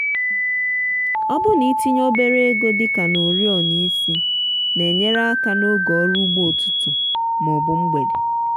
ọbụna itinye obere ego dị ka na oriọna isi na-enyere aka n'oge ọrụ ugbo ụtụtụ ma ọ bụ mgbede.